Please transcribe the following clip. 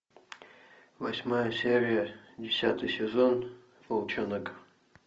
восьмая серия десятый сезон волчонок